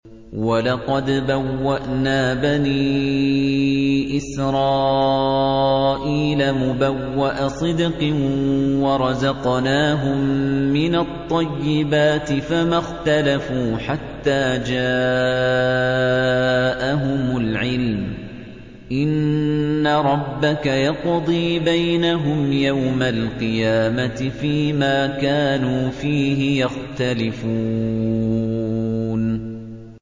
وَلَقَدْ بَوَّأْنَا بَنِي إِسْرَائِيلَ مُبَوَّأَ صِدْقٍ وَرَزَقْنَاهُم مِّنَ الطَّيِّبَاتِ فَمَا اخْتَلَفُوا حَتَّىٰ جَاءَهُمُ الْعِلْمُ ۚ إِنَّ رَبَّكَ يَقْضِي بَيْنَهُمْ يَوْمَ الْقِيَامَةِ فِيمَا كَانُوا فِيهِ يَخْتَلِفُونَ